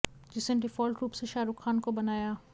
जिसने डिफॉल्ट रूप से शाहरुख खान को बनाया